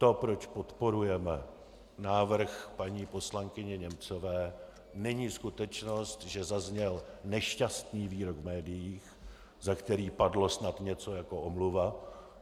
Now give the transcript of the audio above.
To, proč podporujeme návrh paní poslankyně Němcové, není skutečnost, že zazněl nešťastný výrok v médiích, za který padlo snad něco jako omluva.